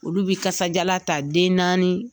Olu bi kasajalan ta den naani